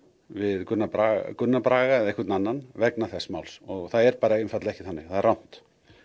við Gunnar Braga Gunnar Braga eða einhvern annan vegna þess máls og það er einfaldlega ekki þannig það er rangt